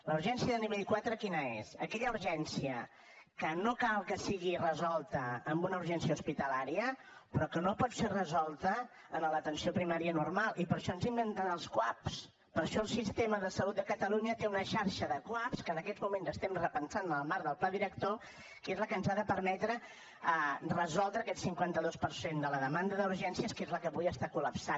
la urgència de nivell quatre quina és aquella urgència que no cal que sigui resolta amb una urgència hospitalària però que no pot ser resolta en l’atenció primària normal i per això ens hem inventat els cuap per això el sistema de salut de catalunya té una xarxa de cuap que en aquests moments estem repensant en el marc del pla director que és la que ens ha de permetre resoldre aquest cinquanta dos per cent de la demanda d’urgència que és la que avui està col·lapsant